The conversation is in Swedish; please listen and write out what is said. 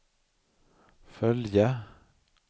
följa